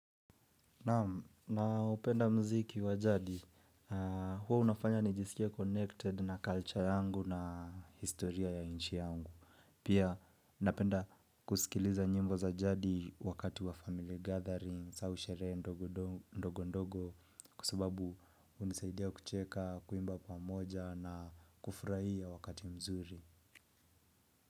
Naupenda mziki wa jadi, hua unafanya nijisikie connected na culture yangu na historia ya inchi yangu. Pia napenda kusikiliza nyimbo za jadi wakati wa family gatherings au sherehe ndogo ndogo ndogo kwa sababu hunisaidia kucheka kuimba pamoja na kufurahia wakati mzuri.